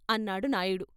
" అన్నాడు నాయుడు.